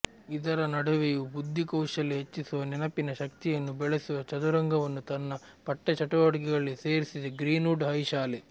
ಇದರ ನಡುವೆಯೂ ಬುದ್ಧಿಕೌಶಲ್ಯ ಹೆಚ್ಚಿಸುವ ನೆನಪಿನ ಶಕ್ತಿಯನ್ನು ಬೆಳೆಸುವ ಚದುರಂಗವನ್ನು ತನ್ನ ಪಠ್ಯ ಚಟುವಟಿಕೆಗಳಲ್ಲಿ ಸೇರಿಸಿದೆ ಗ್ರೀನ್ವುಡ್ ಹೈ ಶಾಲೆ